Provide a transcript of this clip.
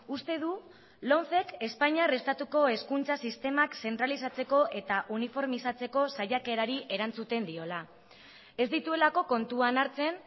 uste du lomcek espainiar estatuko hezkuntza sistemak zentralizatzeko eta uniformizatzeko saiakerari erantzuten diola ez dituelako kontuan hartzen